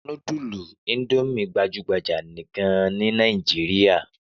Núdúlù Indomie gbajú-gbajà gan-an ní Nàìjíríà.